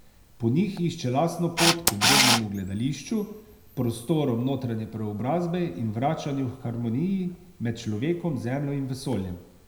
Po njih išče lastno pot k obrednemu gledališču, prostorom notranje preobrazbe in vračanju k harmoniji med človekom, zemljo in vesoljem.